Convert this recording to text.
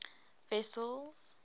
wessels